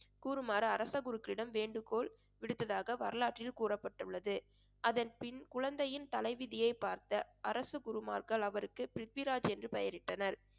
கூறுமாறு அரச குருக்களிடம் வேண்டுகோள் விடுத்ததாக வரலாற்றில் கூறப்பட்டுள்ளது. அதன் பின் குழந்தையின் தலைவிதியை பார்த்த அரச குருமார்கள் அவருக்கு பிரித்விராஜ் என்று பெயரிட்டனர்